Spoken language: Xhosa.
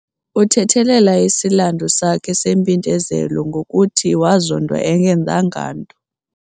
Uthethelela isilandu sakhe sempindezelo ngokuthi wazondwa engenzanganto.